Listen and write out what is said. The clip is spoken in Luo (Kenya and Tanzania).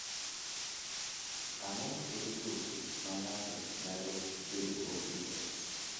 Ang’o ma kelo tuoche ma ng’ato nyalo bedogo gi X?